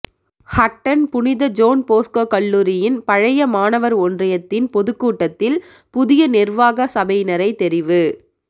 ஹட்டன் புனித John Bosco கல்லூரியின் பழைய மாணவர் ஒன்றியத்தின் பொதுக்கூட்டத்தில் புதிய நிர்வாக சபையினரை தெரிவு